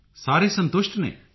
ਸਾਰੇ ਸੰਤੁਸ਼ਟ ਸਨ